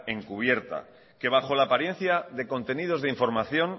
encubierta que bajo la apariencia de contenidos de información